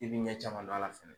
I bi ɲɛ caman dɔn a la fɛnɛ